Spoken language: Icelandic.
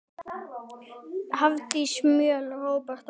Hafdís Mjöll, Róbert og börn.